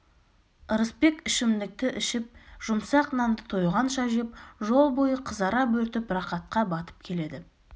ырысбек ішімдікті ішіп жұмсақ нанды тойғанша жеп жол бойы қызара бөртіп рақатқа батып келеді